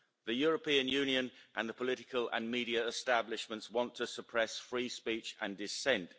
The European Union and the political and media establishments want to suppress free speech and dissent.